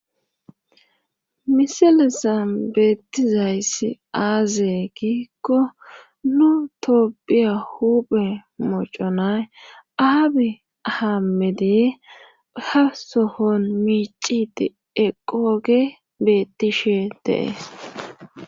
misalezan beettizayssi aaze giikko nu toophiya huuphe moconay aabi haamediye ha sohon miicidi eqoge bettishe de7es